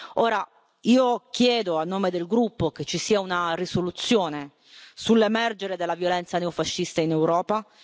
Ora, io chiedo a nome del gruppo che ci sia una risoluzione sull'emergere della violenza neofascista in Europa.